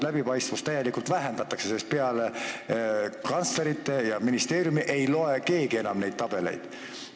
Läbipaistvust täielikult vähendatakse, sest peale kantslerite ja ministeeriumi ei vaata enam keegi neid tabeleid.